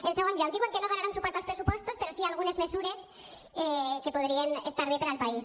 en segon lloc diuen que no donaran suport als pressupostos però sí a algunes mesures que podrien estar bé per al país